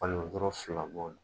Kalilu o kɔrɔ fila bɔ.